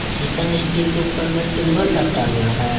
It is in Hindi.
चिकन स्टिक के ऊपर में सिल्वर लपटा हुआ है।